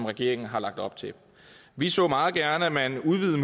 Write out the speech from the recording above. regeringen har lagt op til vi så meget gerne at man udvidede